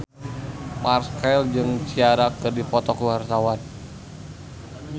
Marchell jeung Ciara keur dipoto ku wartawan